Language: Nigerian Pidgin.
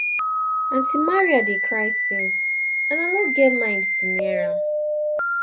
aunty maria dey cry since and i no get mind to near am